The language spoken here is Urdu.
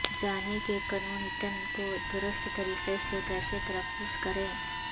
جانیں کہ کنونٹن کو درست طریقے سے کیسے تلفظ کریں